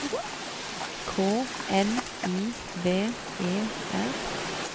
K N I V E R